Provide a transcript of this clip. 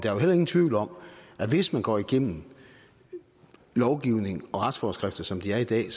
er jo heller ingen tvivl om at hvis man går igennem lovgivning og retsforskrifter som de er i dag